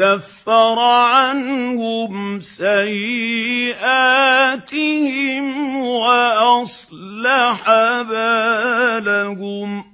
كَفَّرَ عَنْهُمْ سَيِّئَاتِهِمْ وَأَصْلَحَ بَالَهُمْ